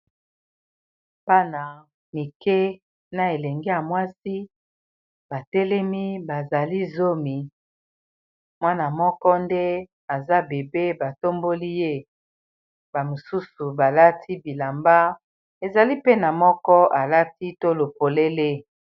Bana Mike , Na elenge ya mwasi batelemi bazali zomi . mwana moko nde aza bébé batomboli ye ! bamosusu balati bilamba ezali mpe, na moko alati tolo polele .